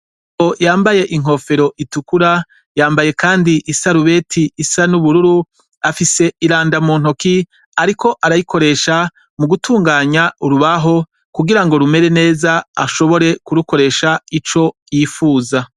Yambaye inkofero ritukura yambaye kandi isaruberi isa nubururu afise iranda mu ntoki ariko arayikoresha mugutunganya urubaho kugirango rumere neza ashobore kurukoresha ico yipfuza